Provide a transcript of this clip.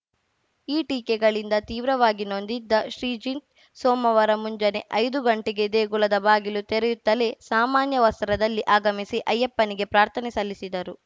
ಈ ಟೀಕೆಗಳಿಂದ ತೀವ್ರವಾಗಿ ನೊಂದಿದ್ದ ಶ್ರೀಜಿತ್‌ ಸೋಮವಾರ ಮುಂಜಾನೆ ಐದು ಗಂಟೆಗೆ ದೇಗುಲದ ಬಾಗಿಲು ತೆರೆಯುತ್ತಲೇ ಸಾಮಾನ್ಯ ವಸ್ತ್ರದಲ್ಲಿ ಆಗಮಿಸಿ ಅಯ್ಯಪ್ಪನಿಗೆ ಪ್ರಾರ್ಥನೆ ಸಲ್ಲಿಸಿದರು